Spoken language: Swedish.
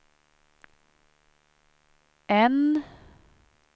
N